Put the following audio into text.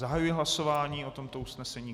Zahajuji hlasování o tomto usnesení.